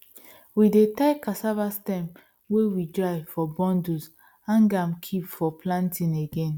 we dey tie cassava sterm wey we dry for bundles hang am kip for planting again